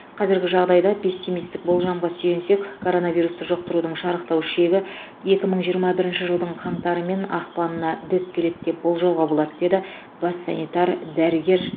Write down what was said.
қазіргі жағдайда пессимистік болжамға сүйенсек коронавирусты жұқтырудың шарықтау шегі екі мың жиырма бірінші жылдың қаңтары мен ақпанына дөп келеді деп болжауға болады деді бас санитар дәрігер